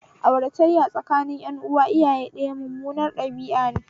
Aurataya tsakanin ƴan uwa iyaye ɗaya mummunar ɗabi'ane